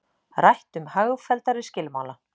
Rætt um hagfelldari skilmála